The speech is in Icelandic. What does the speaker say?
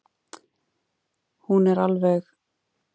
Hún er alveg frábær vinkona.